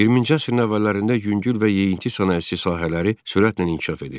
20-ci əsrin əvvəllərində yüngül və yeyinti sənayesi sahələri sürətlə inkişaf edirdi.